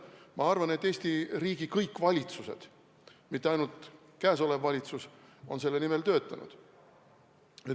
Ma arvan, et kõik Eesti riigi valitsused, mitte ainult käesolev valitsus, on selle nimel töötanud.